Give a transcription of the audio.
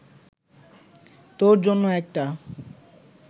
তোর জন্য একটা